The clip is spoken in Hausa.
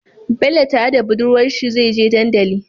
Bello tare da budurwar sa zai je dandali